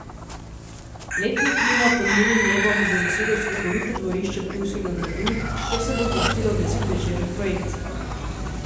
Letni kino pod milim nebom bo zasedel slikovito dvorišče ptujskega gradu, kjer se bo zvrstilo deset večernih projekcij.